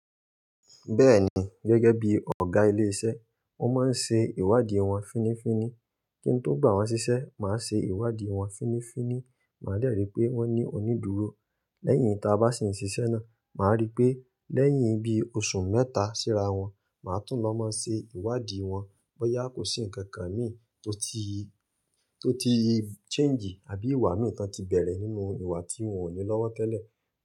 Bẹ́ẹ̀ni, gẹ́gẹ́ bí ọ̀gá ilé iṣẹ́, mo máa ń ṣe ìwádìí wọn fínnífínní. Kí n tó gbá wọn ṣiṣẹ́, màá ṣe ìwádìí wọn fínnífínní, màá dẹ́ rì pé wọ́n ní onídùúró. Lẹ́yìn ta bá sì ń ṣiṣẹ́ náà, màá rí pé lẹ́yìn bí oṣù mẹ́ta síra wọn, màá tún lọ máa ṣe ìwádìí wọn bóyá kò sí ǹkan kan mìí tó ti, tó ti change àbí ìwà mìí tó ti bẹ̀rẹ̀ nínú ìwà tí wọ́n ò ní lọ́wọ́ tẹ́lẹ̀.